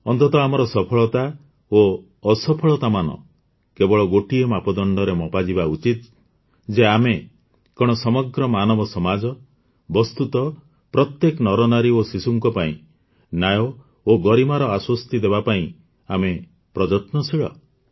ଅନ୍ତତଃ ଆମର ସଫଳତା ଓ ଅସଫଳତାମାନ କେବଳ ଗୋଟିଏ ମାପଦଣ୍ଡରେ ମପାଯିବା ଉଚିତ ଯେ ଆମେ କଣ ସମଗ୍ର ମାନବ ସମାଜ ବସ୍ତୁତଃ ପ୍ରତ୍ୟେକ ନରନାରୀ ଓ ଶିଶୁଙ୍କ ପାଇଁ ନ୍ୟାୟ ଓ ଗରିମାର ଆଶ୍ୱସ୍ତି ଦେବା ପାଇଁ ଆମେ ପ୍ରଯତ୍ନଶୀଳ